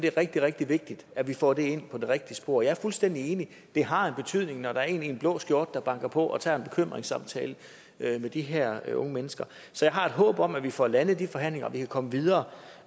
er rigtig rigtig vigtigt at vi får det ind på det rigtige spor jeg er fuldstændig enig i har en betydning når der er en i en blå skjorte der banker på og tager en bekymringssamtale med de her unge mennesker så jeg har et håb om at vi får landet de forhandlinger og vi kan komme videre